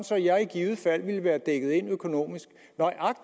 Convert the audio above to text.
så jeg i givet fald ville være dækket ind økonomisk